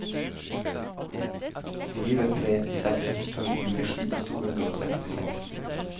fire tre seks to nittisju to hundre og sekstiseks